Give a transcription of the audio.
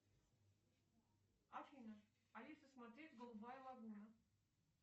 афина алиса смотреть голубая лагуна